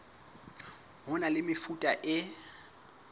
ho na le mefuta e